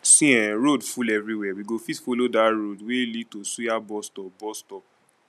see eh road full everywhere we go fit follow dat road wey lead to suya bus stop. bus stop.